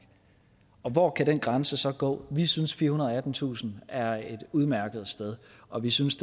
hvor kan den grænse så gå vi synes at firehundrede og attentusind er et udmærket sted og vi synes